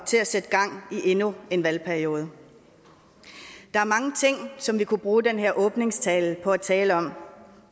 til at sætte gang i endnu en valgperiode der er mange ting som vi kunne bruge den her åbningstale på at tale om